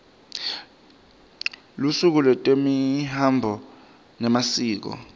lusuku lwetemihambo nemasiko